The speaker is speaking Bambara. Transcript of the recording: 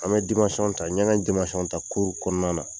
An bɛ ta ɲɛngɛ ta kuru kɔnɔna na.